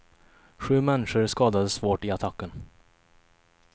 Sju människor skadades svårt i attacken.